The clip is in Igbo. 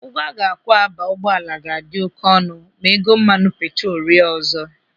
Ụgwọ a ga-akwụ aba ụgbọala ga-adị oké ọnụ ma ego mmanụ petrolu rịa ọzọ.